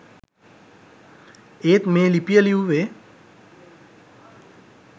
ඒත් මේ ලිපිය ලිව්වේ